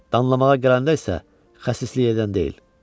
Danlamağa gələndə isə xəsislik edən deyil.